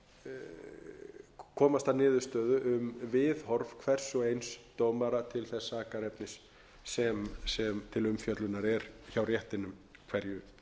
að komast að niðurstöðu um viðhorf hvers og eins dómara til þess sakarefnis sem til umfjöllunar er hjá réttinum hverju